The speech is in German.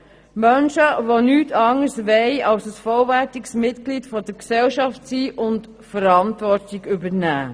Es sind Menschen, die nichts anderes wollen, als ein vollwertige Mitglied der Gesellschaft zu sein und Verantwortung zu übernehmen.